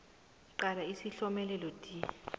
qala isihlomelelo d